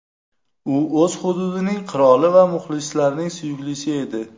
U o‘z hududining qiroli va muxlislarning suyuklisi edi.